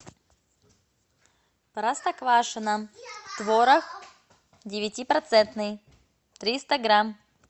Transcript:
простоквашино творог девятипроцентный триста грамм